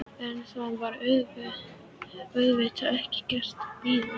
En það var auðvitað ekki gerlegt að bíða.